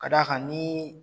K'a d'a kan ni